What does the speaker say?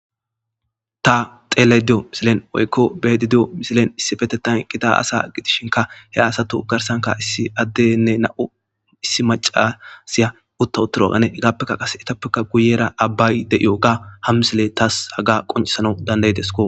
ta xeele diyo misilen woykko bedi diyo misilen issifetetan qita asa gidishinka he asatu garsanka ii addenne na7u issi macasiya utta uttiro agane hegaappekka qase etappeka guyera abbay de7iyo ga hamsile taas haga qoncisana dandayitesko